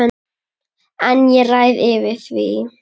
En ég ræð yfir því.